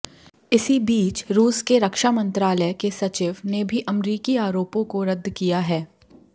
इसी बीच रूस के रक्षामंत्रालय के सचिव ने भी अमरीकी आरोपों को रद्द किया है